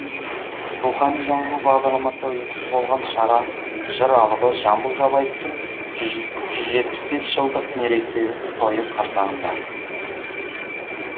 рухани жаңғыру бағдарламасы ұйытқы болған шара жыр алыбы жамбыл жабаевтың жүз жетпіс бес жылдық мерейтойы қарсаңында өтеді